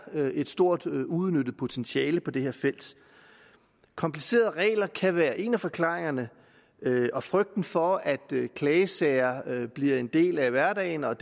et stort uudnyttet potentiale på det her felt komplicerede regler kan være en af forklaringerne og frygten for at klagesager bliver en del af hverdagen og